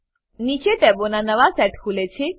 નીચે ટેબોનાં નવા સેટ ખુલે છે